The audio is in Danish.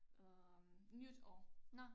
Øh nytår